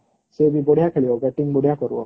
ସେ ବି ବଢିଆ ଖେଳିବbating ବଢିଆ କରିବ